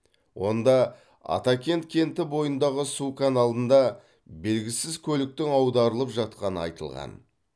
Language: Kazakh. онда атакент кенті бойындағы су каналында белгісіз көліктің аударылып жатқаны айтылған